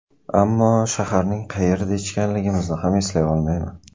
Ammo shaharning qayerida ichganligimizni ham eslay olmayman.